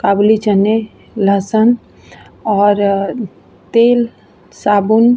काबुली चने लहसुन और तेल साबुन --